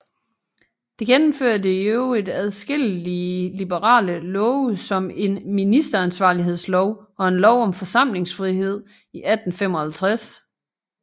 Det gennemførte i øvrigt adskillige liberale love som en ministeransvarlighedslov og en lov om forsamlingsfrihed 1855